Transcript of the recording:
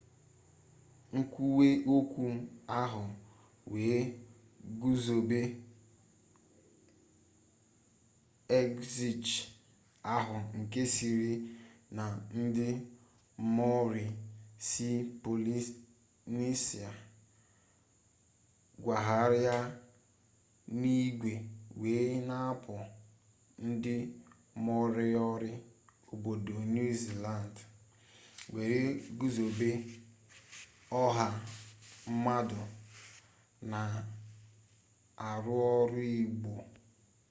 nkwuwe okwu ahụ wee guzobe exhiche ahụ nke sịrị na ndị maori si polinesia kwagharịa n'igwe were n'apụ ndị moriori obodo niu ziland were guzobe ọha mmadụ na-arụ ọrụ ugbo